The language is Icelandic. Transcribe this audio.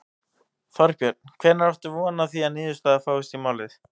Þorbjörn: Hvenær áttu von á því að niðurstaða fáist í málið?